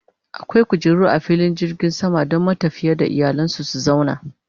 akwai kujeru a filin jirgin sama Dan matafiya da iyalansu su zauna